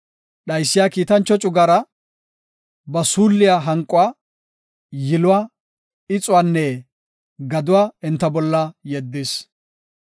Dhaysiya kiitancho cugara, ba suulliya hanquwa, yiluwa, ixuwanne gaduwa enta bolla yeddis.